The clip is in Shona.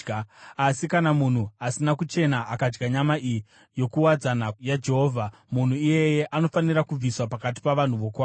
Asi kana munhu asina kuchena akadya nyama iyi yokuwadzana yaJehovha, munhu iyeye anofanira kubviswa pakati pavanhu vokwake.